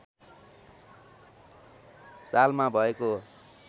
सालमा भएको हो